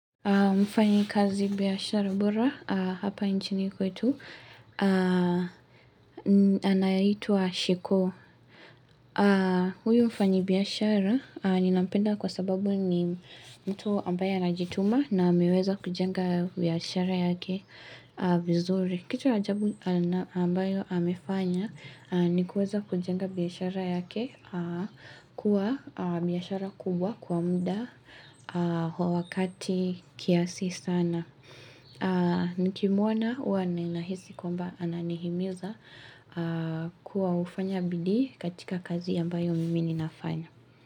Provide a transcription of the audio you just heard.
Mfanyikazi biashara bora hapa nchini kwetu, anaitwa Shiko. Huyo mfanyibiashara ninampenda kwa sababu ni mtu ambaye anajituma na ameweza kujenga biashara yake vizuri. Kitu ajabu ambayo amefanya nikuweza kujenga biashara yake kuwa biashara kubwa kwa mda wa wakati kiasi sana. Nikimwona huwa ninahisi kwamba ananihimiza kuwa ufanya bidii katika kazi ambayo mimi ninafanya.